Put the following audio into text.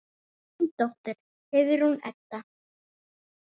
Þín dóttir, Heiðrún Edda.